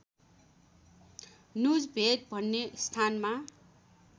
नुजभेड भन्ने स्थानमा